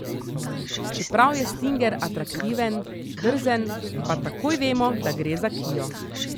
Čeprav je stinger atraktiven, drzen, pa takoj vemo, da gre za kio.